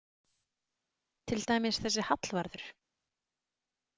Til dæmis þessi Hallvarður.